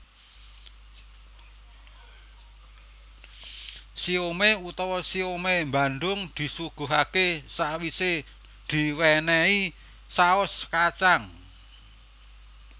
Siomai utawa siomai Bandung disuguhaké sawisé diwénéhi saos kacang